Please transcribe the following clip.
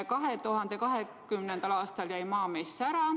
2020. aastal jäi Maamess ära.